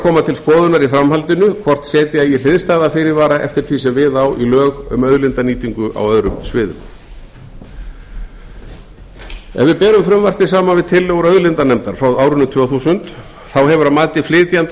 koma til skoðunar í framhaldinu hvort setja eigi hliðstæða fyrirvara eftir því sem við á lög um auðlindanýtingu á öðrum sviðum ef við berum frumvarpið saman við tillögur auðlindanefndar frá árinu tvö þúsund þá hefur að mati flytjenda